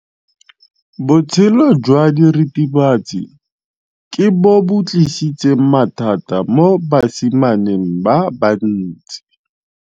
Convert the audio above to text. Botshelo jwa diritibatsi ke bo tlisitse mathata mo basimaneng ba bantsi.